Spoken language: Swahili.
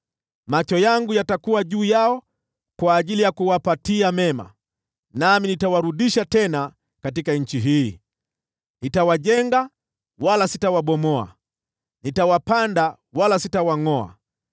Macho yangu yatakuwa juu yao kwa ajili ya kuwapatia mema, nami nitawarudisha tena katika nchi hii. Nitawajenga wala sitawabomoa, nitawapanda wala sitawangʼoa,